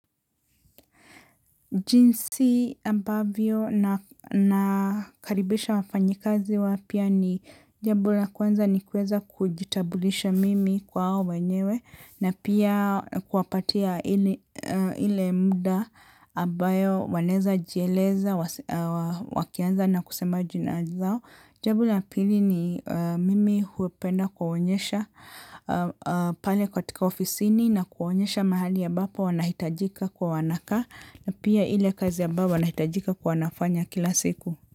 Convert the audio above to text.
Jinsi ambavyo na karibisha wafanyikazi wapya ni jambo la kwanza ni kuweza kujitabulisha mimi kwa wao wenyewe na pia kuapatia any ile muda ambayo waneza jieleza wakianza na kusema jina zao. Jambo la pili ni mimi hupenda kuwaonyesha pale katika ofisini na kuwaonyesha mahali ambapo wanahitajika kwa wanakaa na pia ile kazi ambayo wanahitajika kwa wanafanya kila siku.